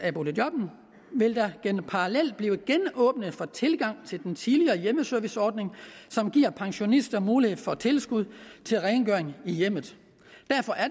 vil der parallelt blive genåbnet for tilgang til den tidligere hjemmeserviceordning som giver pensionister mulighed for tilskud til rengøring i hjemmet